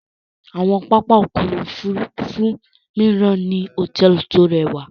Awọn pápá ọkọ̀ òfurufú miran ni hotẹẹli ti o rẹwa